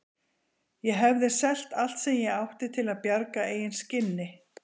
Ég hefði selt allt sem ég átti til að bjarga eigin skinni.